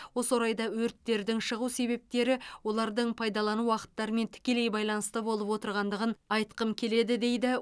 осы орайда өрттердің шығу себептері олардың пайдалану уақыттарымен тікелей байланысты болып отырғандығын айтқым келеді дейді